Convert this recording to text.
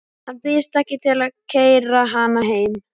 Hann býðst ekki til að keyra hana heim.